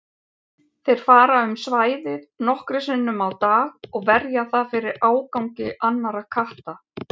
Þeir fara um svæðið nokkrum sinnum á dag og verja það fyrir ágangi annarra katta.